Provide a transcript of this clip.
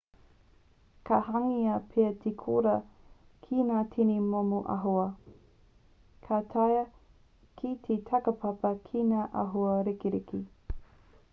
ka hangaia pea te koura ki ngā tini momo āhua ka taea te takapapa ki ngā āhua ririki